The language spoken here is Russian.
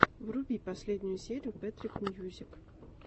вруби последнюю серию пэтрик мьюзик